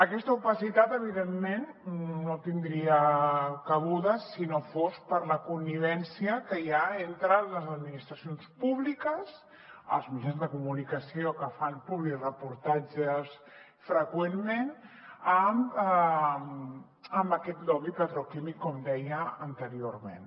aquesta opacitat evidentment no tindria cabuda si no fos per la connivència que hi ha entre les administracions públiques els mitjans de comunicació que fan publireportatges freqüentment amb aquest lobby petroquímic com deia anteriorment